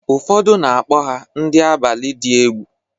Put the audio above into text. Ụfọdụ na-akpọkwa ha ndị abalị dị egwu.